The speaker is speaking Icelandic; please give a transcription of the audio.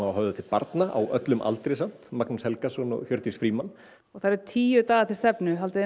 börnum á öllum aldri samt Magnús Helgason og Hjördís Frímann og það eru tíu dagar til stefnu haldið þið